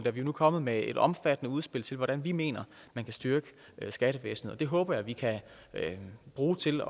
er vi nu kommet med et omfattende udspil til hvordan vi mener at man kan styrke skattevæsenet og det håber jeg at vi kan bruge til